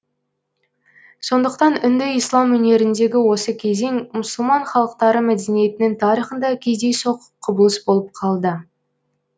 сондықтан үнді ислам өнеріндегі осы кезең мұсылман халықтары мәдениетінің тарихында кездейсоқ құбылыс болып калды